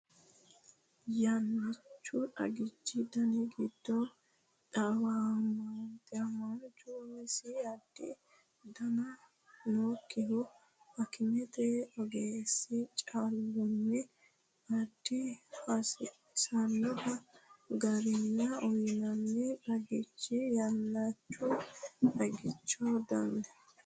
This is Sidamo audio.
Yannichu xagichi dani giddo dhiwamaanchu umisi adha dandaan- nokkihu akimete ogeessi callunni adha hasiissannohu garinni uyinanni xagichooti Yannichu xagichi dani.